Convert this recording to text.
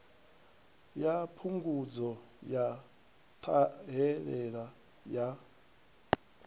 ya phungudzo ya ṱhahelelo ya